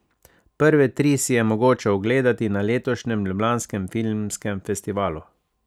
Prve tri si je mogoče ogledati na letošnjem ljubljanskem filmskem festivalu.